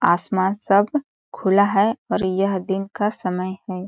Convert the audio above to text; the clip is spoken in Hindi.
आसमान सब खुला है और यह दिन का समय है।